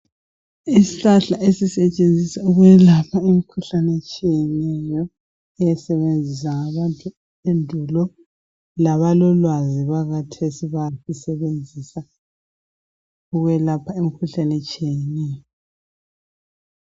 Izihlahla ezisetshenziswa ukuwelapha imikhuhlane etshiyeneyo, ezazisethenziswa ngabantu endulo, labalolwazi bakathesi basebenzisa ukwelapha imikhuhlane etshiyeneyo.